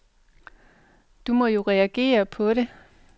Du må jo reagere på¨det.